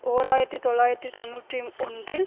ஓர் ஆயிரத்தி தொள்ளாயிரத்தி தொன்னூற்றி ஒன்றில்